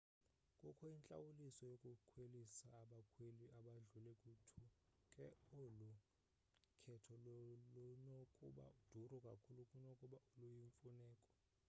kukho intlawuliso yokukhwelisa abakhweli abadlule ku-2 ke olu khetho lunokuba duru kakhulu kunokuba luyimfuneko